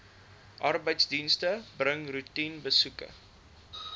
arbeidsdienste bring roetinebesoeke